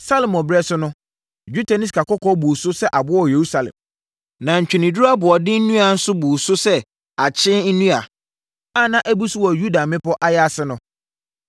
Salomo ɛberɛ so no, dwetɛ ne sikakɔkɔɔ buu so sɛ aboɔ wɔ Yerusalem. Na ntweneduro aboɔden nnua nso buu so sɛ akyee nnua a na abu so wɔ Yuda mmepɔ ayaase no.